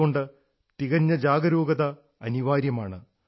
അതുകൊണ്ട് തികഞ്ഞ ജാഗരൂകത അനിവാര്യമാണ്